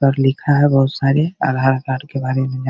तर लिखा है बहुत सारी आधार कार्ड बारे में जा --